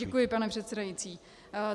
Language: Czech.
Děkuji, pane předsedající.